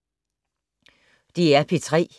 DR P3